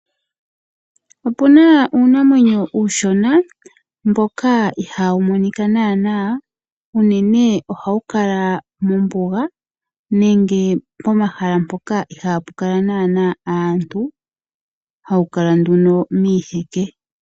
Opuna uunamwenyo uushona mboka ihaa wu monika nanaa, uunene oha wu kala mombuga nenge po mahala mpoka ihaa pu kala nanaa aantu, ha wu kala nduno miiheke.